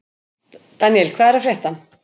Daníel, hvað er að frétta?